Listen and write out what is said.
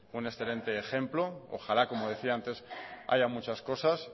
un excelente ejemplo ojalá como decía antes haya muchas cosas